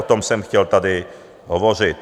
O tom jsem chtěl tady hovořit.